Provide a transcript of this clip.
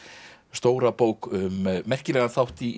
stóra bók um merkilegan þátt í